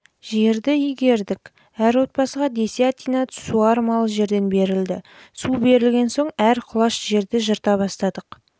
жерді игердік әр отбасыға десятина суармалы жерден берілді су берілген соң әр құлаш жерді жырта бастадық